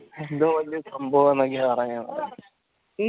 എന്തോ വലിയ സംഭവ ഇങ്ങനെ പാറയണ്